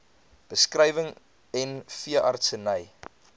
beskrywing n veeartseny